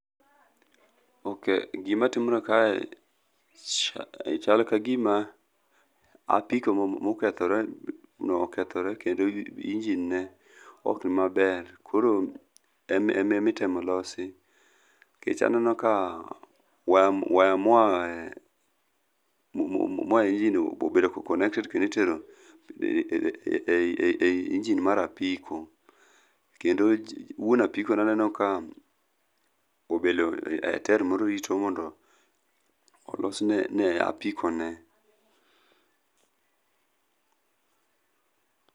ok gima timre kae chal ka gima apiko mokethore no okethre kendo [ingine ne ok ni maber koro emi temo losi, nikech aneno ka wire moa e engine obedo connected kendo itero e engine mar apiko, kendo wuon apiko aneno kobedo e tile moro rito mondo olosne apiko ne